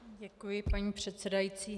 Děkuji, paní předsedající.